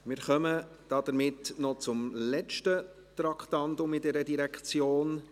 Wir kommen somit noch zum letzten Traktandum bei dieser Direktion: